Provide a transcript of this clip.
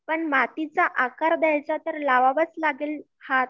पण मातीच्या आकार द्यायचा तर लावावा लागेल हात